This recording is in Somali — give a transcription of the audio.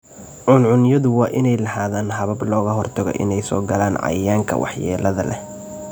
Cuncunyadu waa inay lahaadaan habab looga hortago inay soo galaan cayayaanka waxyeellada leh.